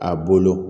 A bolo